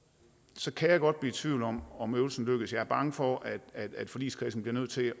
så kan jeg godt blive i tvivl om om øvelsen lykkes jeg er bange for at forligskredsen bliver nødt til